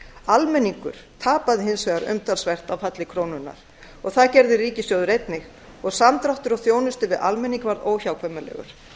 almenningur tapaði hins vegar umtalsvert á falli krónunnar og það gerði ríkissjóður einnig og samdráttur á þjónustu við almenning varð óhjákvæmilegur